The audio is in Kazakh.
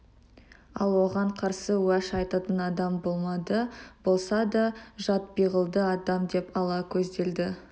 ал оған қарсы уәж айтатын адам болмады болса да жат пиғылды адам деп ала көзделді